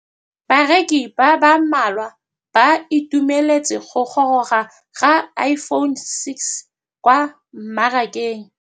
Bareki ba ba malwa ba ituemeletse go gôrôga ga Iphone6 kwa mmarakeng.